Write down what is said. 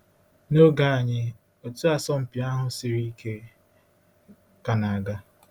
N’oge anyị, otu asọmpi ahụ siri ike ka na-aga.